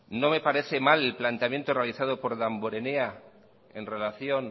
no me parece mal el planteamiento realizado por damborenea en relación